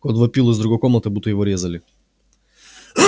кот вопил из другой комнаты будто его резали